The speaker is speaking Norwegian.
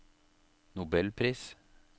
nobelpris